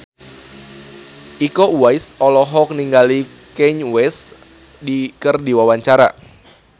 Iko Uwais olohok ningali Kanye West keur diwawancara